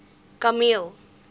kameel